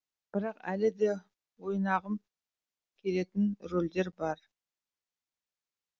бірақ әлі де ойнағым келетін рөлдер бар